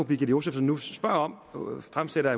birgitte josefsen nu spørger om når hun fremsætter